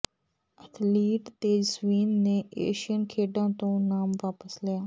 athlete Tejaswin ਨੇ Asian ਖੇਡਾਂ ਤੋਂ ਨਾਮ ਵਾਪਸ ਲਿਆ